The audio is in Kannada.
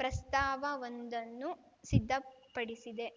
ಪ್ರಸ್ತಾವವೊಂದನ್ನು ಸಿದ್ಧಪಡಿಸಿದೆ